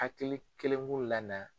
Hakili keleku lana.